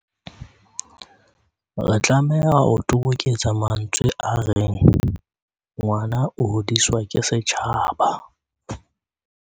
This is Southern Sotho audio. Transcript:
Re tlameha ho toboketsa mantsweng a reng "ngwana o hodiswa ke setjhaba".